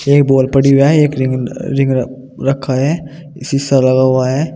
एक बोल पड़ी हुआ है एक रिंग रिंग रखा है शिशा लगा हुआ है।